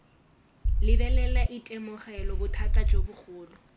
lebelela itemogela bothata jo bogolo